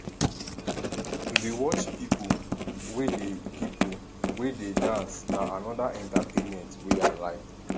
to dey watch pipo wey dey pipo wey dey dance na anoda entertainment wey i like